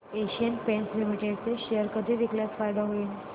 Asian Paints Limited चे share कधी विकल्यास फायदा होईल